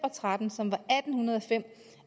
og tretten som var atten hundrede og fem